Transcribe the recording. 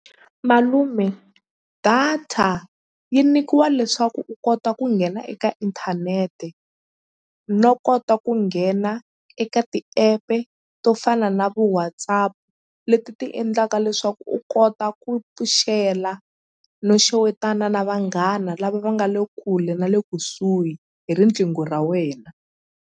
Malume data yi nyikiwa leswaku u kota ku nghena eka inthanete no kota ku nghena eka ti-app-e to fana na vo WhatsApp leti ti endlaka leswaku u kota ku pfuxela no xewetana na vanghana lava va nga le kule na le kusuhi hi riqingho ra wena.